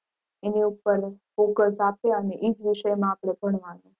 એની ઉપર focus આપે અને એ જ વિષય માં આપણે ભણવાનું.